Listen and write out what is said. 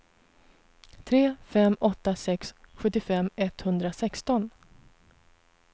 tre fem åtta sex sjuttiofem etthundrasexton